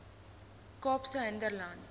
kaapse hinterland